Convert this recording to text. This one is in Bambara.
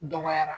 Dɔgɔyara